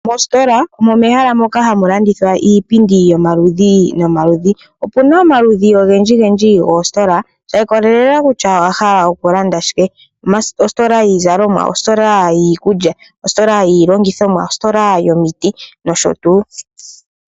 Mositola omo mehala moka hamulandithwa iipindi yomaludhi nomaludhi, opuna omaludhi ongendji ngendji gositola sha ikolelela kutya owahala okulanda shike , ositola yiizalomwa, ositola yiikulya, ositola yilongithomwa, ositola yomiti nosho tu .